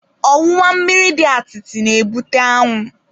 Ọwụwa mmiri dị atịtị na-ebute anwụ.